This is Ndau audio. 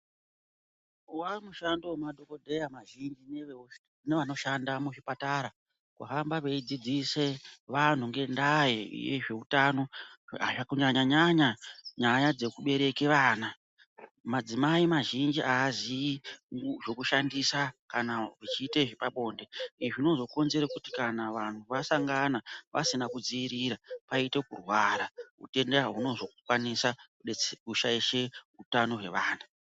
Wamushando wemadhokodheya mazhinji nevanoshanda muzvipatara kuhamba veidzidzise vantu ngendaa yezveutano Kunyanyanyanya nyaya dzekubereke vana. Madzimai mazhinji aziyi zvekushandisa kana achiita zvepabonde izvi zvinozokonzera kuti kana vantu vasangana pasina kudzivirira paite kurwara. Utenda hunozokwanisa kushaishe utano hwevana.